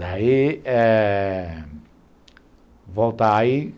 Daí, é... Voltar aí,